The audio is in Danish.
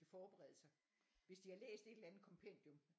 Kan forberede sig hvis de har læst et eller andet kompendium